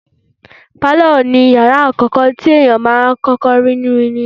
Pálọ̀ ni ìyàrá àkọ́kọ́ tí ènìyàn máà ń rí nínú ilé.